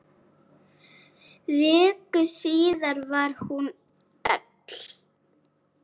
Viku síðar var hún öll.